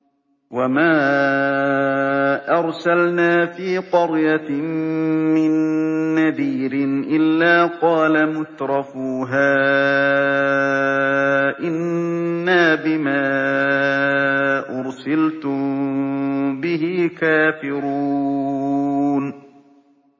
وَمَا أَرْسَلْنَا فِي قَرْيَةٍ مِّن نَّذِيرٍ إِلَّا قَالَ مُتْرَفُوهَا إِنَّا بِمَا أُرْسِلْتُم بِهِ كَافِرُونَ